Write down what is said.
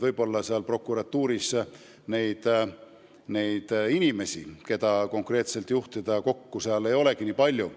Võib mõelda, et prokuratuuris ei ole inimesi, keda konkreetselt juhtida on vaja, kuigi palju.